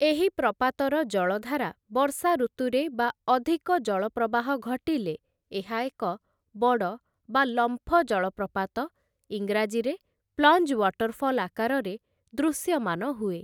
ଏହି ପ୍ରପାତର ଜଳଧାରା ବର୍ଷା ଋତୁରେ ବା ଅଧିକ ଜଳ ପ୍ରବାହ ଘଟିଲେ, ଏହା ଏକ ବଡ଼ ବା ଲମ୍ଫ ଜଳପ୍ରପାତ ଈଂରାଜୀରେ ପ୍ଲଞ୍ଜ୍ ୱାଟରଫଲ୍ ଆକାରରେ ଦୃଶ୍ୟମାନ ହୁଏ ।